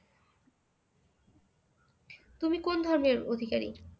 তুমি কোন ধর্মের অধিকারি?